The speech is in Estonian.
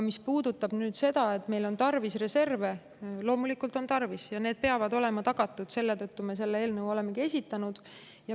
Mis puudutab nüüd seda, et meil on tarvis reserve, siis loomulikult on neid tarvis ja need peavad olema tagatud: selle tõttu me olemegi selle eelnõu esitanud.